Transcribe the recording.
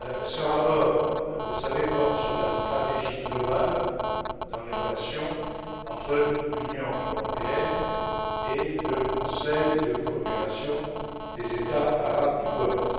Ce rapport, vous le savez, porte sur la stratégie globale dans les relations entre l'Union européenne et le Conseil de coopération des États arabes du Golfe.